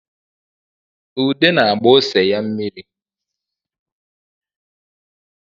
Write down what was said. Ude na-agba ose ya mmiri